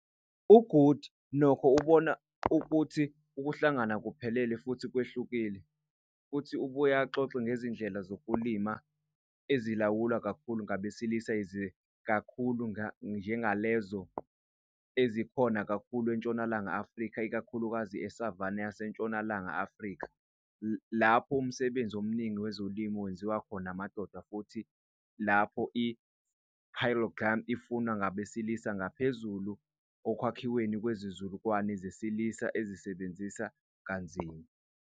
UGoody, nokho, ubona ukuthi ukuhlangana akuphelele futhi kwehlukile, futhi ubuye axoxe ngezindlela zokulima ezilawulwa kakhulu ngabesilisa yize ziziningi kakhulu njengalezo ezikhona kakhulu eNtshonalanga Afrika, ikakhulukazi e-savanna yaseNtshonalanga Afrika, lapho umsebenzi omningi wezolimo wenziwa khona amadoda, futhi lapho i-polygyny ifunwa ngabesilisa ngaphezulu ekwakhiweni kwezizukulwane zesilisa ezisebenzisa kanzima.